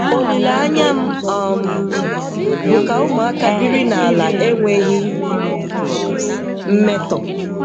Olileanya m um bụ ka ụmụaka biri n'ala enweghị mmetọ